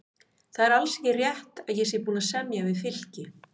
Það er alls ekki rétt að ég sé búinn að semja við Fylki.